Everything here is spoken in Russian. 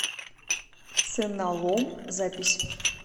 ценалом запись